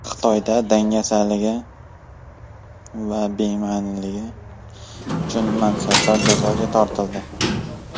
Xitoyda dangasaligi va beg‘amligi uchun mansabdorlar jazoga tortildi.